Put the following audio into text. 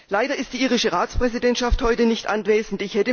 Leider ist die irische Ratspräsidentschaft heute nicht anwesend.